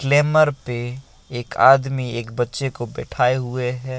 पे एक आदमी एक बच्चे को बिठाये हुए हैं।